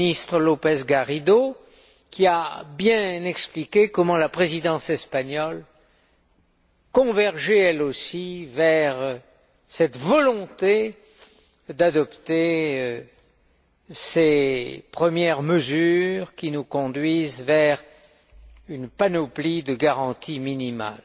le Ministre López Garrido, qui a bien expliqué comment la Présidence espagnole convergeait, elle aussi, vers cette volonté d'adopter ces premières mesures qui nous conduisent vers une panoplie de garanties minimales.